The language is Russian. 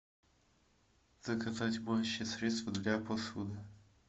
заказать моющее средство для посуды